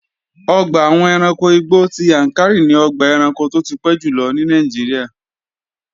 Ọgbà àwọn ẹranko igbó ti Yàǹkàrí ni ọgbà ẹranko tó ti pẹ́ jùlọ ní Nàìjíríà